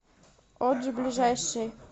оджи ближайший